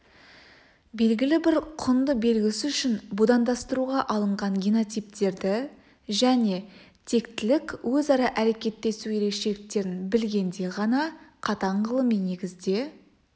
белгілі бір құнды белгісі үшін будандастыруға алынған генотиптерді және тектілік өзара әрекеттесу ерекшеліктерін білгенде ғана қатаң ғылыми негізде